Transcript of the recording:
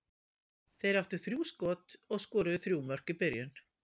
Þeir áttu þrjú skot og skoruðu þrjú mörk í byrjun.